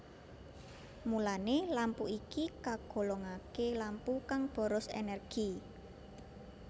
Mulané lampu iki kagolongaké lampu kang boros énérgi